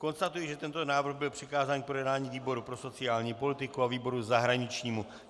Konstatuji, že tento návrh byl přikázán k projednání výboru pro sociální politiku a výboru zahraničnímu.